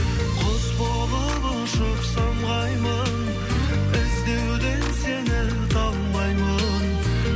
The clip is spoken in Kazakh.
құс болып ұшып самғаймын іздеуден сені талмаймын